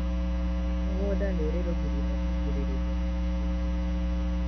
Mũgũnda nĩũrĩ rũgiri rwa kũgirĩrĩria nyamũ kũingĩra